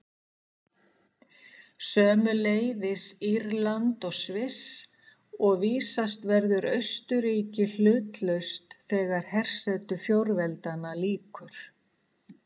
Sömuleiðis Írland og Sviss, og vísast verður Austurríki hlutlaust þegar hersetu fjórveldanna lýkur.